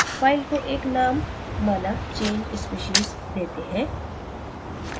file को एक name माना change species देते हैं